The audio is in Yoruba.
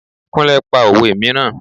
Kúnlẹ́ pa òwe mìíràn.